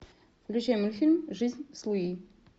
включи мультфильм жизнь с луи